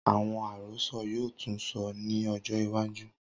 Awọn arosọ yoo tun sọ ni ọjọ iwaju.